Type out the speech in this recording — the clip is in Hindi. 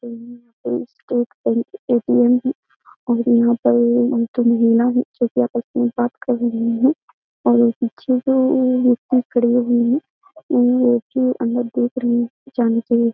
ए.टी.एम. है और यहाँ पर हम दो महिला हैं जोकि आपस में बात कर रहीं हैं और पीछे वो व्यक्ति खड़े रहे हैं उ ऐसे अन्दर देख रहे हैं जाने के लिए --